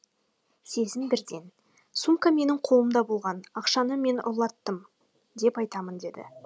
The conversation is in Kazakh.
сезім бірден сумка менің қолымда болған ақшаны мен ұрлаттым деп айтамын деді